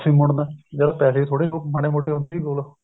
ਮੁੜਨਾ ਜਦ ਪੈਸੇ ਵੀ ਥੋੜੇ ਮਾੜੇ ਮੋਟੇ ਹੁੰਦੇ ਸੀ ਕੋਲ